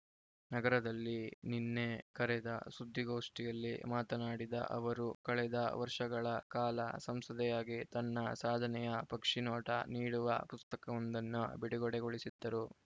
ನಗರದಲ್ಲಿ ನಿನ್ನೆ ಕರೆದ ಸುದ್ದಿಗೋಷ್ಠಿಯಲ್ಲಿ ಮಾತನಾಡಿದ ಅವರು ಕಳೆದ ವರ್ಷಗಳ ಕಾಲ ಸಂಸದೆಯಾಗಿ ತನ್ನ ಸಾಧನೆಯ ಪಕ್ಷಿನೋಟ ನೀಡುವ ಪುಸ್ತಕವೊಂದನ್ನು ಬಿಡುಗಡೆಗೊಳಿಸಿದರು